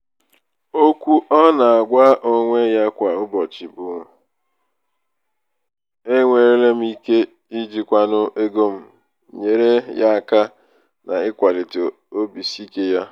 okwu ọ na-agwa onwe ya kwa ụbọchị nke bụ "enwere m ike ijikwanwu ego m" nyeere ya aka n'ịkwalite obisiike ya.